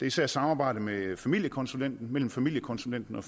især samarbejdet mellem familiekonsulenten mellem familiekonsulenten og